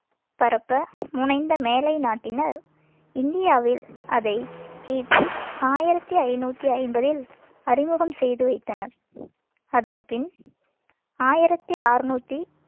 பரப்ப முனைந்த மேலைநாட்டினர் இந்தியாவில் அதை கி பி ஆயிரத்தி ஐந்நூத்தி ஐம்பதில் அறிமுகம் செய்து வைத்தனர் அதன் பின் ஆயிரத்தி அறுநூத்தி